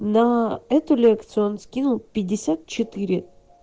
но эту лекцию он скинул пятьдесят четыре